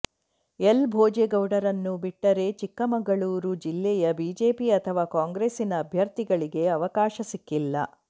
L ಭೋಜೇಗೌಡರನ್ನು ಬಿಟ್ಟರೆ ಚಿಕ್ಕಮಗಳೂರು ಜಿಲ್ಲೆಯ ಬಿಜೆಪಿ ಅಥವಾ ಕಾಂಗ್ರೆಸ್ಸಿನ ಅಭ್ಯರ್ಥಿಗಳಿಗೆ ಅವಕಾಶ ಸಿಕ್ಕಿಲ್ಲ